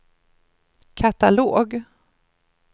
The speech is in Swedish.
katalog